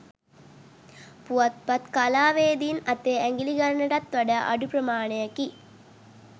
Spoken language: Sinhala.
පුවත්පත් කලාවේදින් අතේ ඇඟිලි ගණනටත් වඩා අඩු ප්‍රමාණයකි.